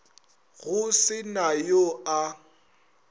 go se na yo a